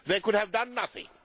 It could have done nothing.